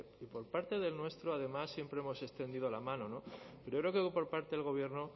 y por parte del nuestro además siempre hemos extendido la mano pero creo que por parte del gobierno